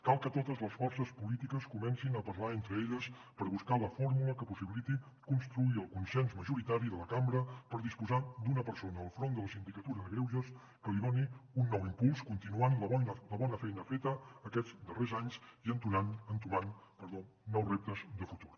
cal que totes les forces polítiques comencin a parlar entre elles per buscar la fórmula que possibiliti construir el consens majoritari de la cambra per disposar d’una persona al front de la sindicatura de greuges que li doni un nou impuls continuant la bona feina feta aquests darrers anys i entomant nous reptes de futur